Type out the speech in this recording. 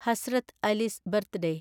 Hazrat Ali's birthday